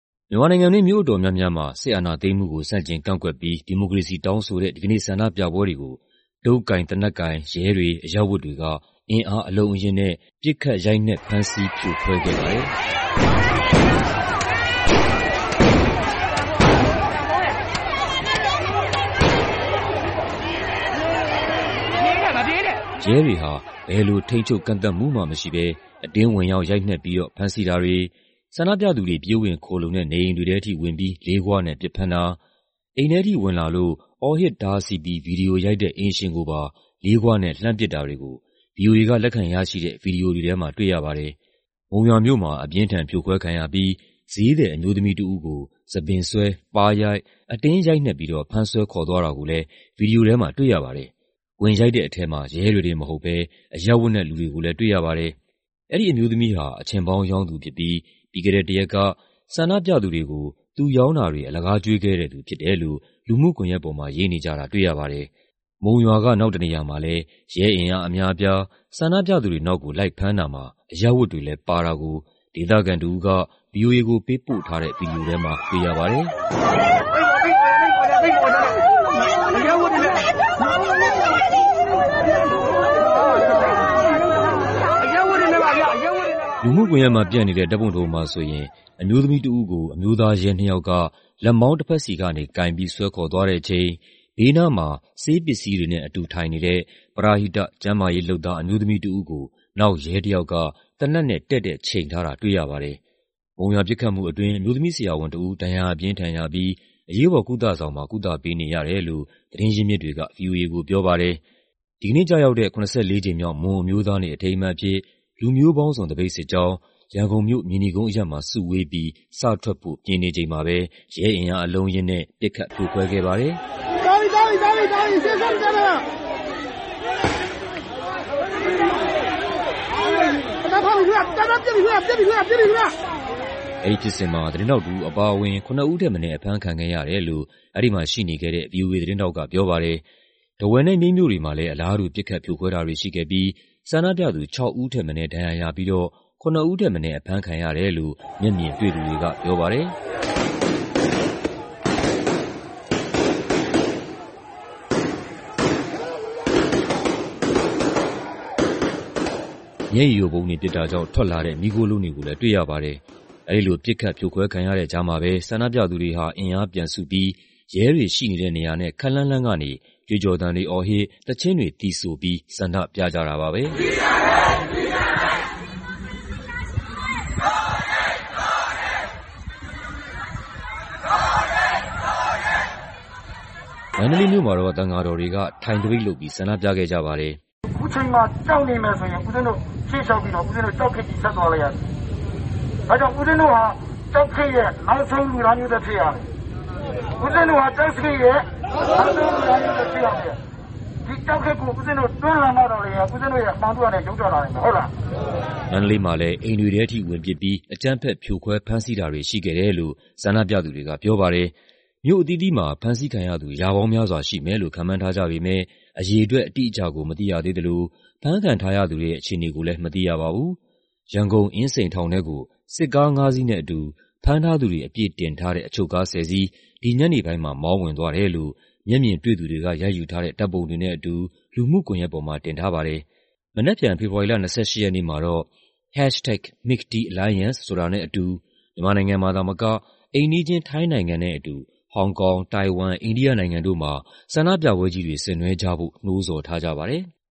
မြန်မာနိုင်ငံတွင်း မြို့အတော်များများမှာ စစ်အာဏာသိမ်းမှုကို ဆန့်ကျင်ကန့်ကွက်ပြီး ဒီမိုကရေစီ တောင်းဆိုတဲ့ ဒီကနေ့ဆန္ဒပြပွဲတွေကို တုတ်ကိုင်၊ သေနတ်ကိုင် ရဲတွေ၊ အရပ်ဝတ်တွေက အင်အားအလုံးအရင်းနဲ့ ပစ်ခတ် ရိုက်နှက် ဖမ်းဆီး ဖြိုခွဲခဲ့ပါတယ်။ ရဲတွေဟာ ဘယ်လို ထိန်းချုပ် ကန့်သတ်မှုမှမရှိဘဲ အတင်းဝင်ရောက် ရိုက်နှက်ပြီးတော့ ဖမ်းဆီးတာတွေ၊ ဆန္ဒပြသူတွေ ပြေးဝင်ခိုလှုံတဲ့ နေအိမ်တွေထဲထိဝင်ပြီး လေးဂွနဲ့ပစ်ဖမ်းတာ၊ အိမ်ထဲထိဝင်လာလို့ အော်ဟစ်တားဆီးပြီး ဗီဒီယိုရိုက်တဲ့ အိမ်ရှင်ကိုပါ လေးဂွနဲ့ လှမ်းပစ်တာတွေကို ဗွီအိုအေက လက်ခံရရှိတဲ့ ဗီဒီယိုတွေထဲမှာ တွေ့ရပါတယ်။ မုံရွာမြို့မှာ အပြင်းအထန်ဖြိုခွဲခံရပြီး ဈေးသည်အမျိုးသမီးတစ်ဦးကို ဆံပင်ဆွဲ၊ ပါးရိုက်၊ အတင်းရိုက်နှက်ပြီးတော့ ဖမ်းဆွဲခေါ်သွားတာကိုလည်း ဗီဒီယိုထဲမှာတွေ့ရပါတယ်။ ဝင်ရိုက်တဲ့ထဲမှာ ရဲတွေတင်မဟုတ်ဘဲ အရပ်ဝတ်နဲ့ လူတွေကိုလည်းတွေ့ရပါတယ်။ အဲဒီအမျိုးသမီးဟာ အချဉ်ပေါင်းရောင်းသူဖြစ်ပြီး ပြီးခဲ့တဲ့တစ်ရက်က ဆန္ဒပြသူတွေကို သူရောင်းတာတွေ ကျွေးခဲ့တဲ့သူဖြစ်တယ်လို့ လူမှုကွန်ယက်ပေါ်မှာ ရေးနေကြတာတွေ့ရပါတယ်။ မုံရွာက နောက်တစ်နေရာမှာလည်း ရဲအင်အားအများအပြား ဆန္ဒပြသူတွေနောက်ကို လိုက်ဖမ်းတာမှာ အရပ်ဝတ်တွေလည်းပါတာကို ဒေသခံတစ်ဦးက ဗွီအိုအေကို ပေးပို့ထားတဲ့ ဗီဒီယိုထဲမှာ တွေ့ရပါတယ်။ လူမှုကွန်ယက်မှာပျံ့နေတဲ့ ဓာတ်ပုံတစ်ပုံမှာဆိုရင် အမျိုးသမီးတစ်ဦးကို အမျိုးသား ရဲနှစ်ယောက်က လက်မောင်းတဘက်စီကနေကိုင်ပြီး ဆွဲခေါ်သွားတဲ့အချိန် ဘေးနားမှာ ဆေးပစ္စည်းတွေနဲ့အတူ ထိုင်နေတဲ့ ပရဟိတ ကျန်းမာရေးလုပ်သား အမျိုးသမီးတစ်ဦးကို နောက်ရဲတစ်ယောက်က သေနတ်နဲ့ တည့်တည့်ချိန်ထားတာ တွေ့ရပါတယ်။ မုံရွာပစ်ခတ်မှုအတွင်း အမျိုးသမီးဆရာဝန်တစ်ဦး ဒဏ်ရာအပြင်းအထန်ရပြီး အရေးပေါ်ကုသဆောင်မှာ ကုသပေးနေရတယ်လို့ သတင်းရင်းမြစ်တွေက ဗွီအိုအေကိုပြောပါတယ်။ ဒီကနေ့ကျရောက်တဲ့ ၇၄ ကြိမ်မြောက် မွန်အမျိုးသားနေ့ အထိမ်းအမှတ်အဖြစ် လူမျိုးပေါင်းစုံ သပိတ်စစ်ကြောင်း ရန်ကုန်မြို့၊ မြေနီကုန်းအရပ်မှာ စုဝေးပြီး စထွက်ဖို့ ပြင်နေချိန်မှာပဲ ရဲအင်အားအလုံးအရင်းနဲ့ ပစ်ခတ် ဖြိုခွဲခဲ့ပါတယ်။ အဲဒီဖြစ်စဉ်မှာ သတင်းထောက်တစ်ဦးအပါအဝင် ၇ ဦးထက်မနည်း အဖမ်းခံခဲ့ရတယ်လို့ အဲဒီမှာရှိနေခဲ့တဲ့ ဗွီအိုအေသတင်းထောက်က ပြောပါတယ်။ ထားဝယ်နဲ့ မြိတ်မြို့တွေမှာလည်း အလားတူ ပစ်ခတ် ဖြိုခွဲတာတွေရှိခဲ့ပြီး ဆန္ဒပြသူ ၆ ဦးထက်မနည်း ဒဏ်ရာရပြီးတော့ ၇ ဦးထက်မနည်း အဖမ်းခံရတယ်လို့ မျက်မြင်တွေ့သူတွေကပြောပါတယ်။ မျက်ရည်ယိုဗုံးတွေ ပစ်တာကြောင့် ထွက်လာတဲ့ မီးခိုးလုံးတွေကိုလည်း တွေ့ရပါတယ်။ အဲဒီလို ပစ်ခတ်ဖြိုခွဲခံရတဲ့ကြားမှာပဲ ဆန္ဒပြသူတွေဟာ အင်အားပြန်စုပြီး ရဲတွေရှိနေတဲ့နေရာနဲ့ ခပ်လှမ်းလှမ်းကနေ ကြွေးကျော်သံတွေအော်ဟစ်၊ သီချင်းတွေသီဆိုပြီး ဆန္ဒပြကြတာပါပဲ။ မန္တလေးမြို့မှာတော့ သံဃာတော်တွေက ထိုင်သပိတ်လုပ်ပြီး ဆန္ဒပြခဲ့ကြပါတယ်။ မန္တလေးမှာလည်း အကြမ်းဖက်ဖြိုခွဲတာတွေရှိခဲ့တယ်လို့ ဆန္ဒပြသူတွေကပြောပါတယ်။ မြို့အသီးသီးမှာ ဖမ်းဆီးခံရသူ ရာပေါင်းများစွာရှိမယ်လို့ ခန့်မှန်းထားကြပေမယ့် အရေအတွက် အတိအကျကို မသိရသေးသလို ဖမ်းခံထားရသူတွေရဲ့ အခြေအနေကိုလည်း မသိရပါဘူး။ ရန်ကုန် အင်းစိန်ထောင်ထဲကို စစ်ကားငါးစီးနဲ့အတူ ဖမ်းထားသူတွေ အပြည့်တင်ထားတဲ့ အချုပ်ကား ၁၀ စီး ဒီညနေပိုင်းမှာ မောင်းဝင်သွားတယ်လို့ မျက်မြင်တွေ့သူတွေက ရိုက်ယူထားတဲ့ ဓာတ်ပုံတွေနဲ့အတူ လူမှုကွန်ယက်ပေါ်မှာ တင်ထားပါတယ်။ မနက်ဖြန် ဖေဖော်ဝါရီ ၂၈ ရက်နေ့မှာတော့ #MilkTeaAlliance ဆိုတဲ့ hasgtag နဲ့အတူ မြန်မာနိုင်ငံမှာသာမက အိမ်နီးချင်း ထိုင်းနိုင်ငံနဲ့အတူ ဟောင်ကောင်၊ တိုင်ဝမ်၊ အိန္ဒိယနိုင်ငံတို့မှာ ဆန္ဒပြပွဲကြီးတွေ ဆင်နွှဲကြဖို့ နှိုးဆော်ထားကြပါတယ်။